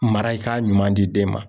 Mara i ka ɲuman di den ma.